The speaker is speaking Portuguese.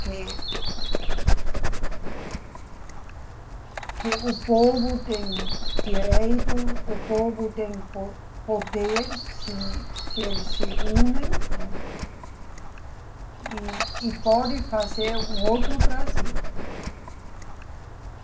Que, que o povo tem direito, o povo tem po, poder, se, se eles se unem, né, e pode fazer um outro Brasil.